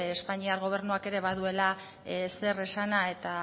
espainiar gobernuak ere baduela zer esana eta